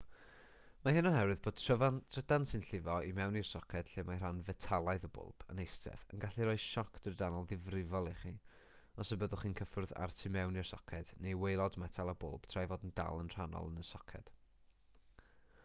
mae hyn oherwydd bod trydan sy'n llifo i mewn i'r soced lle mae rhan fetalaidd y bwlb yn eistedd yn gallu rhoi sioc drydanol ddifrifol i chi os byddwch chi'n cyffwrdd â'r tu mewn i'r soced neu waelod metal y bwlb tra'i fod yn dal yn rhannol yn y soced